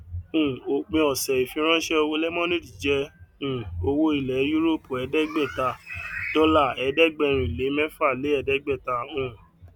um òpin ọsẹ ìfiránṣẹ owó lemonade jẹ um owó ilẹ yúróòpù ẹdẹẹgbàata dọlà ẹẹdẹgbẹrínlé mẹfà lé ẹdẹgbàáta um